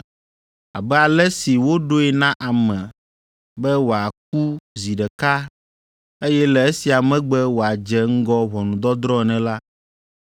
Abe ale si woɖoe na ame be wòaku zi ɖeka, eye le esia megbe wòadze ŋgɔ ʋɔnudɔdrɔ̃ ene la,